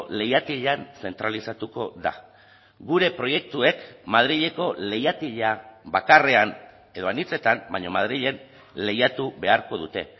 leihatilan zentralizatuko da gure proiektuek madrileko leihatila bakarrean edo anitzetan baina madrilen lehiatu beharko dute